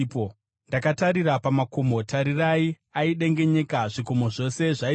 Ndakatarira pamakomo, tarirai, aidengenyeka; zvikomo zvose zvaizeya.